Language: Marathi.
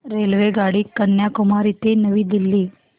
रेल्वेगाडी कन्याकुमारी ते नवी दिल्ली